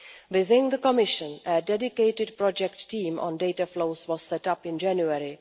Within the Commission, a dedicated project team on data flows was set up in January.